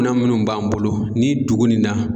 Minan minnu b'an bolo ni dugu in na